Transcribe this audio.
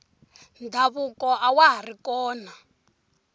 ndhavuko awa hari kona